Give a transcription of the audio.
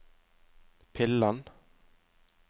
pillen